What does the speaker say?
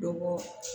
Dɔ bɔ